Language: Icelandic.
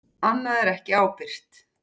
Annað er ekki ábyrgt.